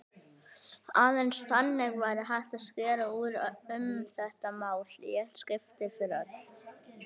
Aðeins þannig væri hægt að skera úr um þetta mál í eitt skipti fyrir öll.